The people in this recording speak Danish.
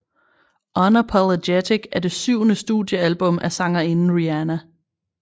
Unapologetic er det syvende studiealbum af sangerinden Rihanna